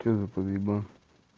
что за подъебон